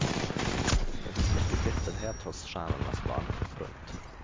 Det finns mycket bitterhet hos stjärnornas barn. punkt